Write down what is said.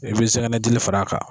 I bi sɛngɛnnɛdili fara kan.